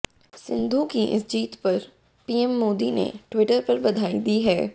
सिंधु की इस जीत पर पीएम मोदी ने ट्विटर पर बधाई दी है